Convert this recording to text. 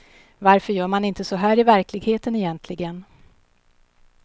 Varför gör man inte så här i verkligheten egentligen?